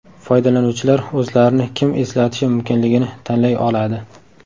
Foydalanuvchilar o‘zlarini kim eslatishi mumkinligini tanlay oladi.